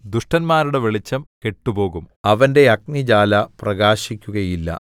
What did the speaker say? ദുഷ്ടന്മാരുടെ വെളിച്ചം കെട്ടുപോകും അവന്റെ അഗ്നിജ്വാല പ്രകാശിക്കുകയില്ല